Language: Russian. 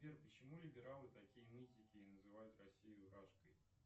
сбер почему либералы такие нытики и называют россию рашкой